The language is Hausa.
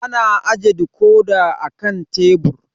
Ana ajiye dikodi a kan tebur